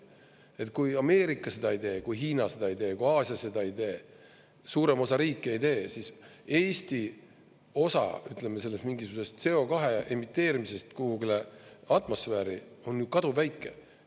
Et kui Ameerika seda ei tee, kui Hiina seda ei tee, kui Aasia seda ei tee, suurem osa riike ei tee, siis Eesti osa, ütleme, sellest mingisugusest CO2 emiteerimisest kuhugile atmosfääri on kaduvväike.